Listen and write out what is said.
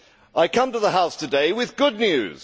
I come to the House today with good news.